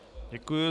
Děkuji.